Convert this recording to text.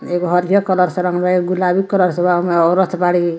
एगो हरियर कलर से रंगले एगो गुलाबी कलर से रंगले औरत बाड़ी।